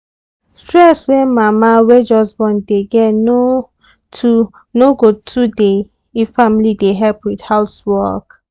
stress wey mama wey just born dey get no too no go too dey if family dey help with house work.